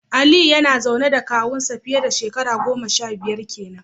Aliyu yana zaune da kawun nasa fiye dashekaru goma sha biyar kenan.